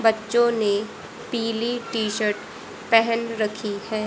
बच्चों ने पीली टी शर्ट पहन रखी है।